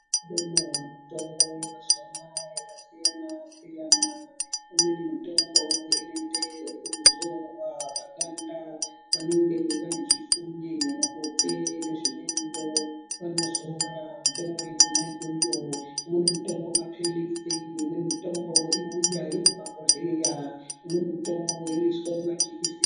Kune mihlobo yemitombo yemazuwa anaya yakasiyana-siyana . Imweni mitombo inoite ekuzorwa paganda vanenge vane zvifuwe muhope nezvimweniwo vanozora mitombo yona iyoyo. Imweni mitombo maphilizi, imweni mitombo inouya iri mumabhodhleya, imweni mitombo inoiswe mumajekiseni.